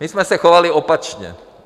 My jsme se chovali opačně.